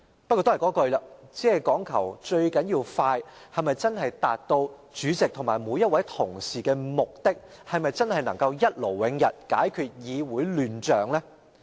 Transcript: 不過還是要再重申，只講求速度，能否真正達到主席及每位同事的目的，是否真能一勞永逸，解決議會的亂象呢？